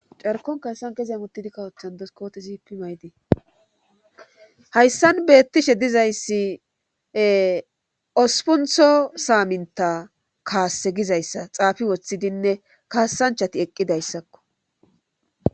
carkon kayssan kezeya muttidi kawothan doskoote zipi maydii hayssan beettishe dizayssi ospuntho saaminta kaasse gizayssa xaafi woththidinne kaassanchati eqqidayssakko